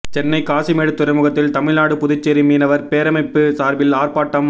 சென்னை காசிமேடு துறைமுகத்தில் தமிழ்நாடு புதுச்சேரி மீனவர் பேரமைப்பு சார்பில் ஆர்பாட்டம்